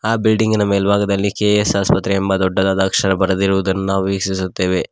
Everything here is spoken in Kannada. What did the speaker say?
ಆ ಬಿಲ್ಡಿಂಗಿನ ಮೇಲ್ಭಾಗದಲ್ಲಿ ಕೆ_ಎಸ್ ಆಸ್ಪತ್ರೆ ಎಂಬ ದೊಡ್ಡದಾದ ಅಕ್ಷರ ಬರೆದಿರುವುದನ್ನು ನಾವು ವೀಕ್ಷಿಸುತ್ತೇವೆ.